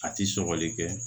A ti sɔgɔli kɛ